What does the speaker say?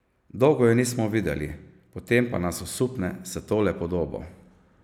Dolgo je nismo videli, potem pa nas osupne s tole podobo.